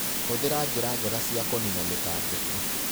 Hũthĩra njĩra njega cia kũnina mĩtangĩko.